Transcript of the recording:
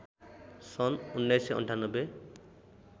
सन् १९९८